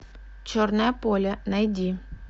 черное поле найди